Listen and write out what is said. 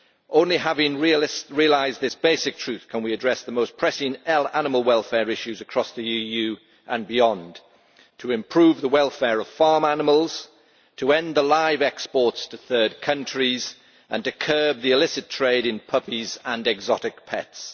Only having realised this basic truth can we address the most pressing animal welfare issues across the EU and beyond to improve the welfare of farm animals, to end live exports to third countries and to curb the illicit trade in puppies and exotic pets.